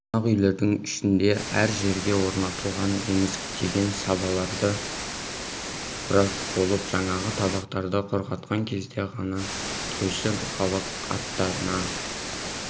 қонақ үйлердің ішінде әр жерге орнатылған емізіктеген сабаларды бұрап болып жаңағы табақтарды құрғатқан кезде ғана тойшы халық аттарына